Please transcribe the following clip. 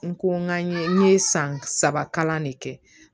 N ko n ka n ye n ye san saba kalan de kɛ